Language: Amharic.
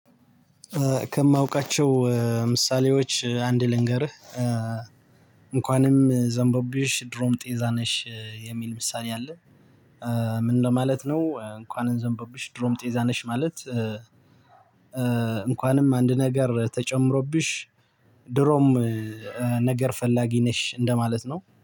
ከማውቃቸው ምሳሌዎች አንድ ልንገርህ እንኳንም ዘንቦብሽ ድሮም ጤዛ ነሽ የሚል ምሳሌ አለ ምን ለማለት ነው እንኳን ዘንቦብሽ ድሮም ጤዛ ነሽ ማለት እንኳንም አንድ ነገር ተጨምሮብሽ ድሮም ነገር ፈላጊ ነሽ እንደማለት ነው።